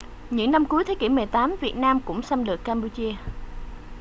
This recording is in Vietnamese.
những năm cuối thế kỷ 18 việt nam cũng xâm lược campuchia